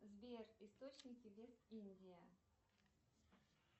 сбер источники вест индия